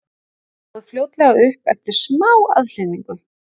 Hann stóð fljótlega upp eftir smá aðhlynningu.